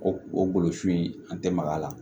O o golo sun in an tɛ maga a la